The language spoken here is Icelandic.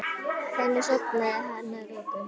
Þannig sofnaði hann að lokum.